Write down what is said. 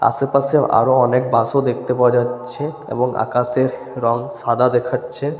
আশেপাশে আরো অনেক বাস -ও দেখতে পাওয়া যাচ্ছে এবং আকাশের রং সাদা দেখাচ্ছে।